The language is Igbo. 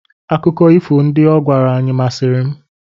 Akụkọ ifo ndị ọ gwara anyị masịrị m.